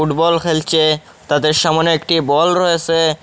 Football খেলছে তাদের সামোনে একটি বল রয়েসে।